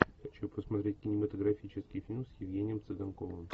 хочу посмотреть кинематографический фильм с евгением цыганковым